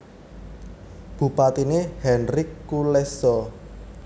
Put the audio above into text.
Bupatiné Henryk Kulesza